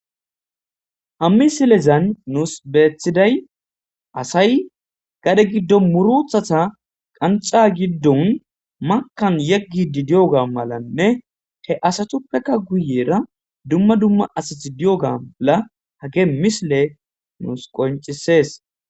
hammi silezan nuus beethiday asay gade giddo muruthata qanca giddon makkan yeggi di di7oga malanne te asatuppekka guyeera dumma dumma asath di7ogala hage misile nuus qoncisees